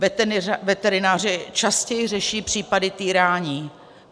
Veterináři častěji řeší případy týrání.